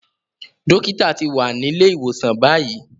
Dókítà ti wà nílé ìwòsàn báyìí.